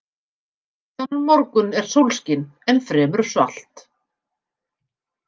Þennan morgun er sólskin en fremur svalt.